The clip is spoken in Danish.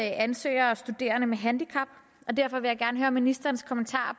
ansøgere og studerende med handicap og derfor vil jeg gerne høre ministerens kommentar